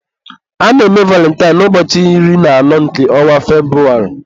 a na-eme valintine na ụbọchị iri na anọ nke ọnwa Febrụwarị.